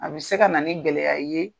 A bɛ se ka na ni ŋɛlɛya ye